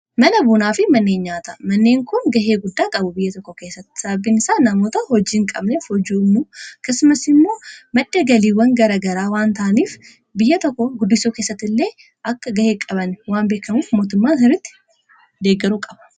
mana buunaa fi manneen nyaata. manneen kun gahee guddaa qabu biyya tokko keessatti sababin isaa namoota hojiiin qabnef hojii ummu akkasumas immoo madda galiiwwan garagaraa waan ta'aniif biyya tokko guddisuu keessatt illee akka gahee qaban waan beekamuuf mootummaan sirritti deeggaruu qaba.